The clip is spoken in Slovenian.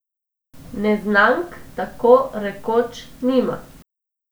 Neznank tako rekoč nima.